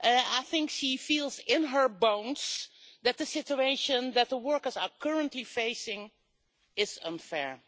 I think she feels in her bones that the situation that workers are currently facing is unfair.